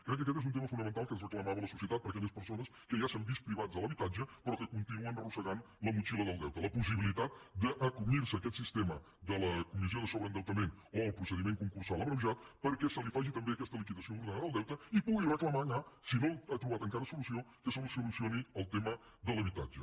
crec que aquest és un tema fonamental que ens reclamava la societat per a aquelles persones que ja s’han vist privades de l’habitatge però que continuen arrossegant la motxilla del deute la possibilitat d’acollir se a aquest sistema de la comissió de sobreendeutament o el procediment concursal abreujat perquè se li faci també aquesta liquidació ordenada del deute i pugui reclamar si no ha trobat encara solució que se li solucioni el tema de l’habitatge